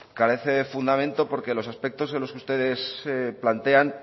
carece de fundamento porque los aspectos en los que ustedes plantean